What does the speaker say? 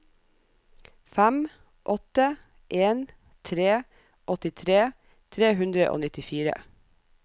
fem åtte en tre åttitre tre hundre og nittifire